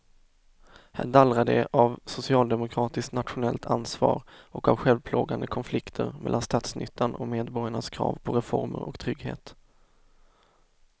Här dallrar det av socialdemokratiskt nationellt ansvar och av självplågande konflikter mellan statsnyttan och medborgarnas krav på reformer och trygghet.